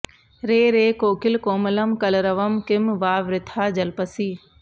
रे रे कोकिल कोमलं कलरवं किं वा वृथा जल्पसि